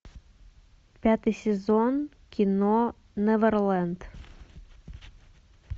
пятый сезон кино неверленд